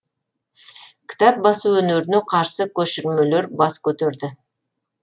кітап басу өнеріне қарсы көшірмелер бас көтерді